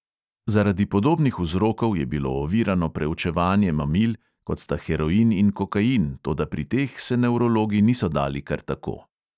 Zaradi podobnih vzrokov je bilo ovirano preučevanje mamil, kot sta heroin in kokain, toda pri teh se nevrologi niso dali kar tako.